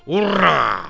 Urra!